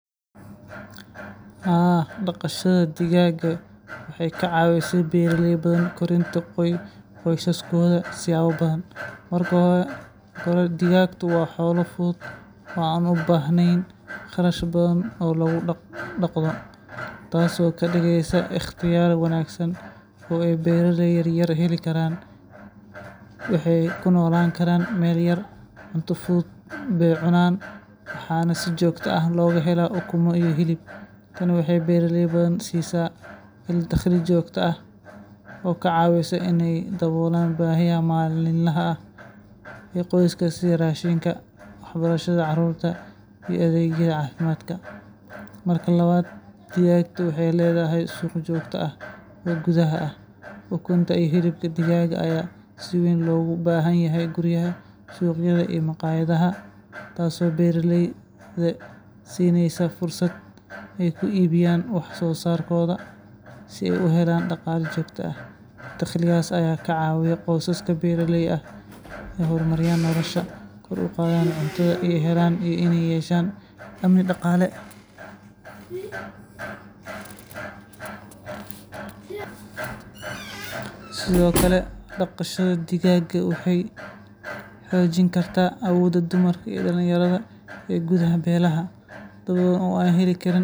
Haa, dhaqashada digaaga waxay ka caawisay beeraley badan korinta qoysaskooda siyaabo badan. Marka hore, digaagtu waa xoolo fudud oo aan u baahnayn kharash badan oo lagu dhaqdo, taasoo ka dhigaysa ikhtiyaar wanaagsan oo ay beeraleyda yaryar heli karaan. Waxay ku noolaan karaan meel yar, cunto fudud bay cunaan, waxaana si joogto ah looga helaa ukumo iyo hilib. Tani waxay beeraley badan siisaa il dakhli joogto ah oo ka caawisa in ay daboolaan baahiyaha maalinlaha ah ee qoyska sida raashinka, waxbarashada carruurta, iyo adeegyada caafimaadka. Marka labaad, digaagtu waxay leedahay suuq joogto ah oo gudaha ah. Ukunta iyo hilibka digaaga ayaa si weyn loogu baahan yahay guryaha, suuqyada iyo maqaayadaha, taasoo beeraleyda siinaysa fursad ay ku iibiyaan wax soo saarkooda si ay u helaan dhaqaale joogto ah. Dakhligaas ayaa ka caawiya qoysaska beeraleyda ah inay horumariyaan noloshooda, kor u qaadaan cuntada ay helaan, iyo inay yeeshaan amni dhaqaale. Sidoo kale, dhaqashada digaaga waxay xoojin kartaa awoodda dumarka iyo dhalinyarada ee gudaha beelaha. Dad badan oo aan heli karin fursado dhaqaale oo waaweyn, sida haweenka ku nool miyiga, waxay si fudud u dhaqaan digaag oo ay ka helaan dakhli u gaar ah. Tani waxay kor u qaadaa isku filnaanshaha qoyska oo dhan iyo awoodda